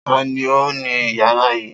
Ta ni ó ni ìyàrá yìí?